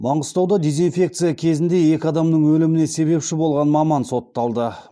маңғыстауда дезинфекция кезінде екі адамның өліміне себепші болған маман сотталды